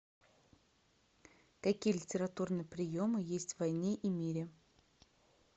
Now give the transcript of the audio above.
какие литературные приемы есть в войне и мире